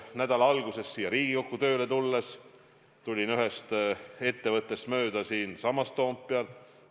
Nädala alguses siia Riigikokku tööle tulles tulin mööda ühest ettevõttest siinsamas Toompeal.